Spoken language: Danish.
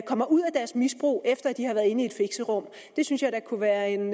kommer ud af deres misbrug efter at de har været inde i et fixerum det synes jeg da kunne være en